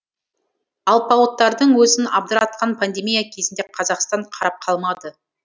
алпауыттардың өзін абдыратқан пандемия кезінде қазақстан қарап қалмады